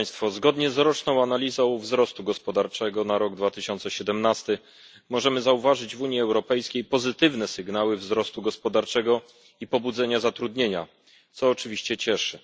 Zgodnie z roczną analizą wzrostu gospodarczego na rok 2017 możemy zauważyć w Unii Europejskiej pozytywne sygnały wzrostu gospodarczego i pobudzenia zatrudnienia, co oczywiście cieszy.